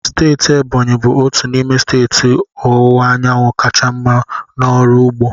Steeti Ebonyi bụ otu n'ime steeti ọwụwa anyanwụ kacha mma n'ọrụ ugbo.